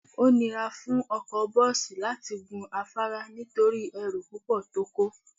Ó nira fún ọkọ bọ́ọ̀sì láti gun afárá nítorí ẹrù púpọ̀ tó kó